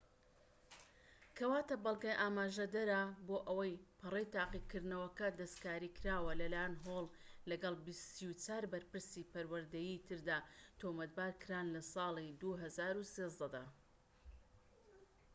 کەواتە بەڵگە ئاماژەدەرە بۆ ئەوەی پەڕەی تاقیکردنەوەکە دەستکاریکراوە لەلای هۆڵ، لەگەڵ ٣٤ بەرپرسی پەروەردەیی تردا، تۆمەتبارکران لە ساڵی ٢٠١٣ دا